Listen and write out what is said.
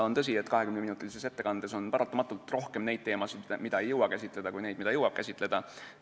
On tõsi, et 20-minutilises ettekandes on paratamatult rohkem neid teemasid, mida ei jõua käsitleda, kui neid, mida jõuab käsitleda.